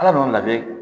Ala n'o lajɛ